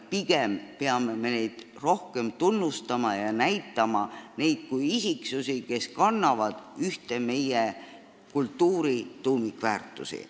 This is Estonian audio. Pigem peame neid rohkem tunnustama ja toetama neid kui isiksusi, kes kannavad ühte meie kultuuri tuumikväärtustest.